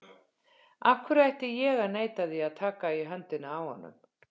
Af hverju ætti ég að neita því að taka í höndina á honum?